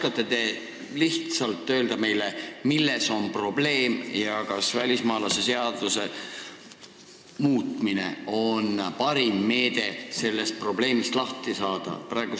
Kas te oskate meile lihtsalt selgitada, milles on probleem ja kas välismaalaste seaduse muutmine on parim meede sellest probleemist lahti saada?